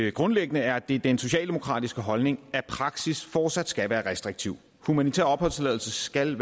at grundlæggende er det den socialdemokratiske holdning at praksis fortsat skal være restriktiv humanitær opholdstilladelse skal